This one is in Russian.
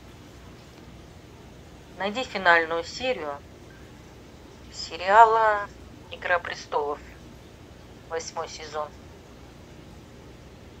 найди финальную серию сериала игра престолов восьмой сезон